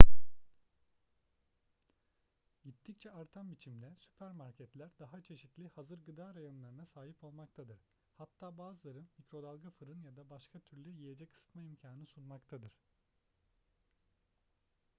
gittikçe artan biçimde süpermarketler daha çeşitli hazır gıda reyonlarına sahip olmaktadır hatta bazıları mikrodalga fırın ya da başka türlü yiyecek ısıtma imkanı sunmaktadır